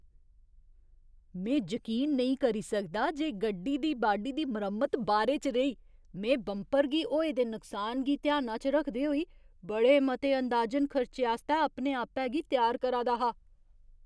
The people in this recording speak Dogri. में जकीन नेईं करी सकदा जे गड्डी दी बाडी दी मरम्मत बारे च रेही! में बंपर गी होए दे नुकसान गी ध्याना च रखदे होई बड़े मते अंदाजन खर्चे आस्तै अपने आपै गी त्यार करा दा हा।